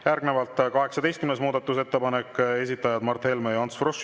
Järgnevalt 18. muudatusettepanek, esitajad Mart Helme ja Ants Frosch.